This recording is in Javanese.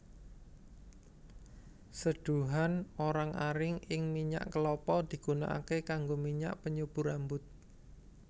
Seduhan orang aring ing minyak kelapa digunakaké kanggo minyak penyubur rambut